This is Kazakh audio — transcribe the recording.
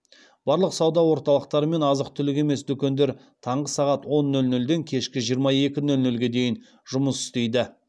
барлық сауда орталықтары мен азық түлік емес дүкендер таңғы сағат он нөл нөлден кешкі жиырма екі нөл нөлге дейін жұмыс істейді